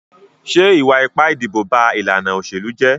Ṣé ìwà ipá ìdìbò ba ìlànà òṣèlú jẹ́?